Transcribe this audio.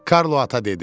Karlo ata dedi: